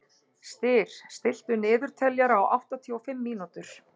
Styr, stilltu niðurteljara á áttatíu og fimm mínútur.